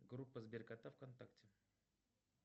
группа сберкота вконтакте